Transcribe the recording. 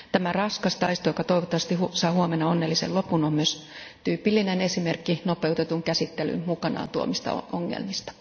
Tämä raskas taisto, joka toivottavasti saa huomenna onnellisen lopun, on myös tyypillinen esimerkki nopeutetun käsittelyn mukanaan tuomista ongelmista.